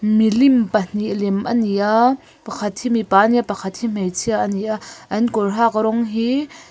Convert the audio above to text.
milim pahnih lem a ni a pakhat hi mipa a ni a pakhat hi hmeichhia a ni a an kawr hak rawng hi--